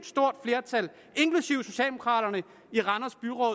stort flertal inklusiv socialdemokraterne i randers byråd